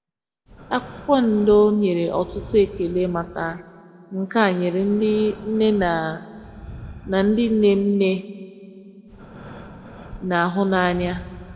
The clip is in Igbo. akwụkwo ndọ nyere ọtụtụ ekele maka nke a nyere ndi nne na na ndi nne nne n'ahụ n'anya